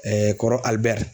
kɔrɔ Alibɛri.